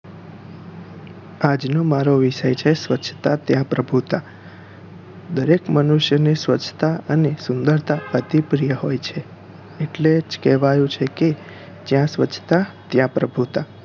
આજનો મારો વિષય છે સ્વચ્છતા ત્યાં પ્રભુતા દરેક મનુષ્ય ને સ્વચ્છતા અને સુંદરતા અતિપ્રિય હોઈ છે એટલે જ કેવાયું છે કે જ્યાં સ્વચ્છતા ત્યાં પ્રભુતા